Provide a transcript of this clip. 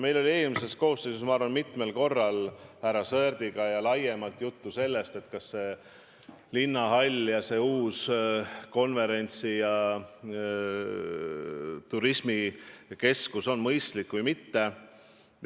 Meil oli eelmises koosseisus mitmel korral härra Sõerdiga laiemalt juttu, kas linnahallist uue konverentsi- ja turismikeskuse ehitamine on mõistlik või mitte.